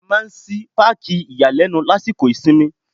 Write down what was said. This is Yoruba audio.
A máa ń ṣí Páàkì ìyàlẹ́nu lásìkò ìsinmi.